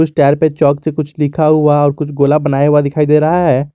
इस टायर पे चॉक से कुछ लिखा हुआ और कुछ गोल बनाया हुआ दिखाई दे रहा है।